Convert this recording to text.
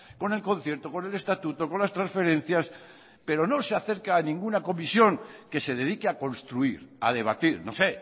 con el concierto con el estatuto con las transferencias pero no se acerca a ninguna comisión que se dedique a construir a debatir no sé